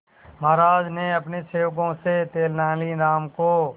महाराज ने अपने सेवकों से तेनालीराम को